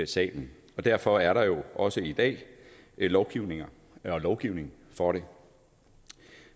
salen derfor er der jo også i dag lovgivning lovgivning for det